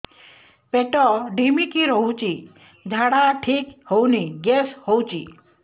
ପେଟ ଢିମିକି ରହୁଛି ଝାଡା ଠିକ୍ ହଉନି ଗ୍ୟାସ ହଉଚି